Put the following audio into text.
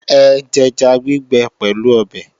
Ẹ jẹja gbígbẹ pẹ̀lú ọbẹ̀!